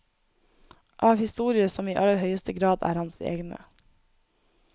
Av historier som i aller høyeste grad er hans egne.